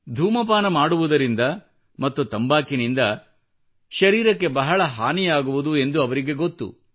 ಧೂಮಪಾನ ಮಾಡುವುದರಿಂದ ಮತ್ತು ತಂಬಾಕಿನಿಂದ ಶರೀರಕ್ಕೆ ಬಹಳ ಹಾನಿಯಾಗುವುದೆಂದು ಅವರಿಗೆ ಗೊತ್ತು